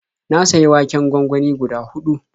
Na sayi waken gwangwani guda huɗu.